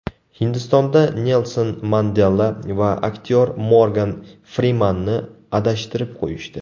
Hindistonda Nelson Mandela va aktyor Morgan Frimanni adashtirib qo‘yishdi.